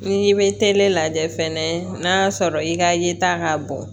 N'i bɛ tele lajɛ fɛnɛ n'a y'a sɔrɔ i ka yeta ka bon